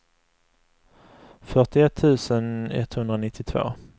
fyrtioett tusen etthundranittiotvå